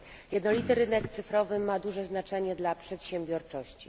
Jednolity rynek cyfrowy ma duże znaczenie dla przedsiębiorczości.